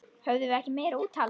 Höfðum við ekki meira úthald?